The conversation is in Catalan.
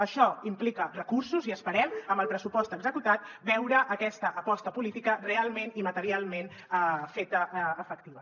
això implica recursos i esperem amb el pressupost executat veure aquesta aposta política realment i materialment feta efectiva